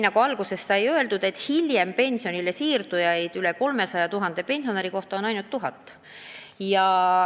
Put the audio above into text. Aga nagu enne sai öeldud, tõsi on, et selliseid inimesi on veidi rohkem kui 300 000 pensionäri kohta ainult tuhat.